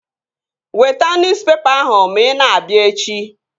Weta nuspepa ahụ ma ị na-abịa echi!